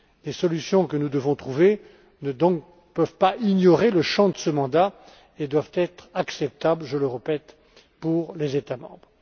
Les solutions que nous devons trouver ne peuvent pas ignorer le champ de ce mandat et doivent être acceptables, je le répète, pour les États membres.